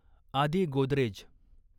Aadi Godrej